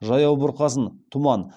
жаяу бұрқасын тұман